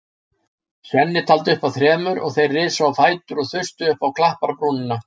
Svenni taldi upp að þremur og þeir risu á fætur og þustu upp á klapparbrúnina.